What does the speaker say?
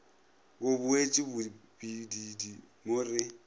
bo boetše bobididi mo re